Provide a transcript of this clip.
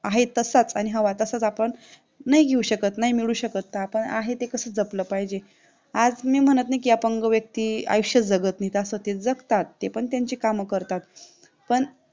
आहे तसंचआणि हवा तसाच, आपण नाही घेऊ शकत नाही मिळवू शकत आपण आहे ते कसं जपलं पाहिजे? आज मी म्हणत नाही की, अपंग व्यक्ती आयुष्यात जगत नाही, असं ते जगतात पण त्याची काम करतात, पण